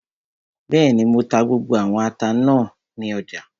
Bẹ́ẹ̀ni, mo ta gbogbo àwọn ata náà tán ní ọjà